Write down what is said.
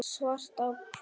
svart á hvítu